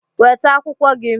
Weta akwụkwọ gị!